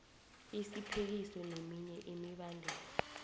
isiphekiso neminye imibandela